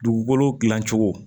Dugukolo dilan cogo